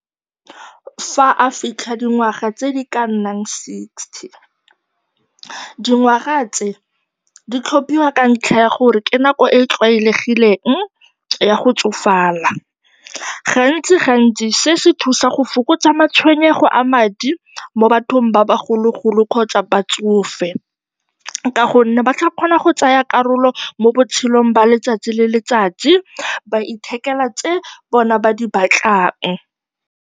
Fa a fitlha dingwaga tse di ka nnang sixty. Dingwaga tse di tlhophiwa ka ntlha ya gore ke nako e e tlwaelegileng ya go tsofala. Gantsigantsi se se thusa go fokotsa matshwenyego a madi mo bathong ba bagologolo kgotsa batsofe ka gonne ba tla kgona go tsaya karolo mo botshelong jwa letsatsi le letsatsi, ba ithekela tse bona ba di batlang.